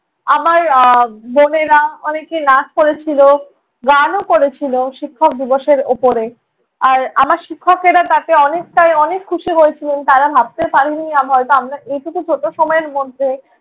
আমার আহ বোনেরা অনেকে নাচ করেছিলো গানও করেছিলো শিক্ষক দিবসের ওপরে। আর আমার শিক্ষকেরা তাতে অনেকটাই অনেক খুশী হয়েছিলেন। তাঁরা ভাবতে পারেন নি আমরা এই টুকু ছোট সময়ের মধ্যে